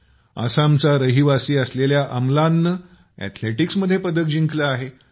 आसामचा रहिवासी असेलेल्या अम्लाननं अथलेटिक्समध्ये पदक जिंकलं आहे